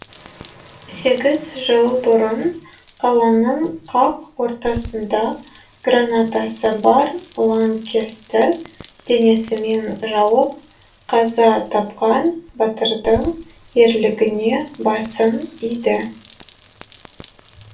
сегіз жыл бұрын қаланың қақ ортасында гранатасы бар лаңкесті денесімен жауып қаза тапқан батырдың ерлігіне басын иді